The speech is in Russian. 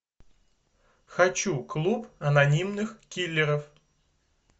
хочу клуб анонимных киллеров